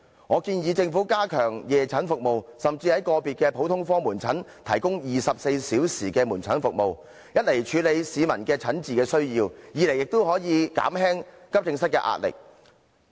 我建議政府加強夜診服務，甚至在個別普通科門診診所提供24小時門診服務，一方面可處理市民的診治需要，另一方面也可減輕急症室的壓力。